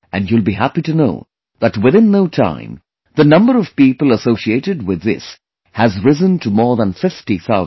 And you will be happy to know that within no time the number of people associated with this has risen to more than 50 thousand